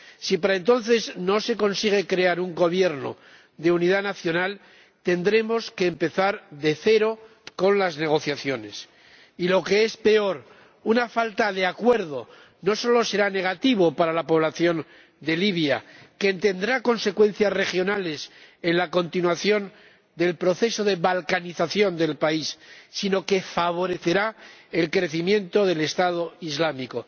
Si para entonces no se consigue formar un Gobierno de unidad nacional, tendremos que empezar de cero con las negociaciones, y, lo que es peor, una falta de acuerdo no solo será negativa para la población de Libia, pues tendrá consecuencias regionales en la continuación del proceso de balcanización del país, sino que favorecerá el crecimiento del Estado islámico.